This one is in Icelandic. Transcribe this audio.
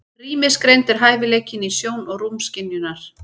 Rýmisgreind er hæfileikinn til sjón- og rúmskynjunar.